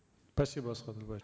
спасибо асхат елубаевич